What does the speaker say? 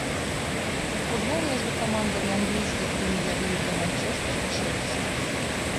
футбол между командами английской премьер лиги манчестер челси